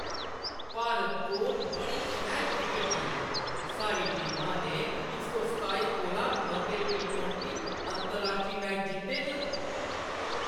भारत कोल बड़ी शैल क्रिकट टीम ऐ। साढ़ी टीमा ने इक सौ सताई कोला मते टी टवंटी अंतरराश्ट्री मैच जित्ते न।